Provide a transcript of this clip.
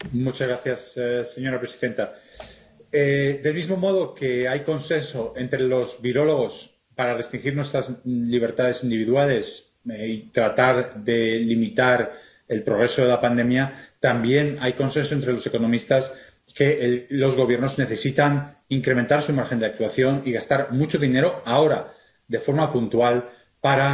Señora presidenta, del mismo modo que hay consenso entre los virólogos para restringir nuestras libertades individuales y tratar de limitar el progreso de la pandemia, también hay consenso entre los economistas en cuanto a que los gobiernos necesitan incrementar su margen de actuación y gastar mucho dinero ahora, de forma puntual, para conseguir